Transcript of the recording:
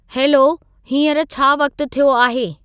hello, हींअर छा वक़्तु थियो आहे